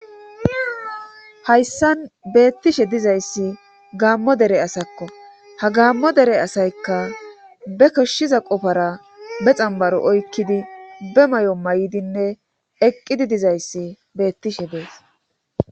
Hayssan beettishe dizayssi gaammo dere asakko ha gaammo dere asaykka be koshshiza qofara be xambaro oykkidi be may'o may7dinne eqqidi dizayssi beettishe dees.